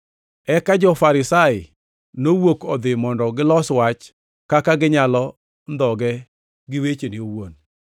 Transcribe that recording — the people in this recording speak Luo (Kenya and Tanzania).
Eka jo-Farisai nowuok odhi mondo gilos wach kaka ginyalo ndhoge gi wechene owuon.